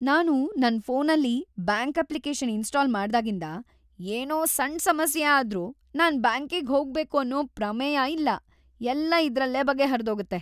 ನಾನು ನನ್ ಫೋನಲ್ಲಿ ಬ್ಯಾಂಕ್ ಅಪ್ಲಿಕೇಷನ್ ಇನ್ಸ್ಟಾಲ್ ಮಾಡ್ದಾಗಿಂದ, ಏನೋ ಸಣ್ಣ್ ಸಮಸ್ಯೆ ಆದ್ರೂ ನಾನ್ ಬ್ಯಾಂಕಿಗ್‌ ಹೋಗ್ಬೇಕು ಅನ್ನೋ ಪ್ರಮೇಯ ಇಲ್ಲ. ಎಲ್ಲ ಇದ್ರಲ್ಲೇ ಬಗೆಹರ್ದೋಗತ್ತೆ.